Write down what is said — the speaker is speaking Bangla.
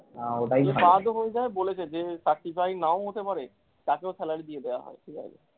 যদি বাদ ও হয়ে যায় বলেছে যে certify নাও হতে পাড়ে তাকেও salary দিয়ে দেওয়া হবে ঠিকাছে।